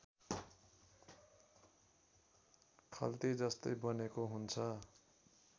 खल्तीजस्तै बनेको हुन्छ